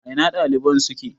A ina ɗaliban suke?